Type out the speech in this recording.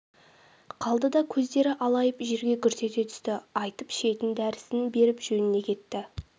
қалды да көздері алайып жерге гүрс ете түсті айтып шетін дәрісін беріп жөніне кетті